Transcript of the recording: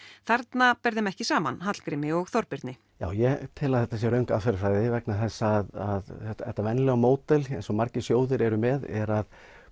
þarna ber þeim ekki saman Hallgrími og Þorbirni já ég tel að þetta sé röng aðferðarfræði vegna þess að þetta þetta venjulega módel eins og margir sjóðir eru með er að